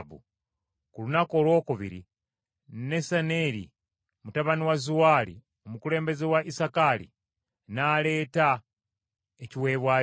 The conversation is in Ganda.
Ku lunaku olwokubiri Nesaneri mutabani wa Zuwaali, omukulembeze wa Isakaali, n’aleeta ekiweebwayo kye.